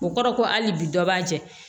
O kɔrɔ ko hali bi dɔ b'a jɛ